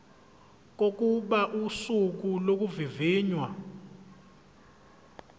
kokuba usuku lokuvivinywa